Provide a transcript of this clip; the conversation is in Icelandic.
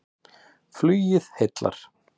Flugið heillar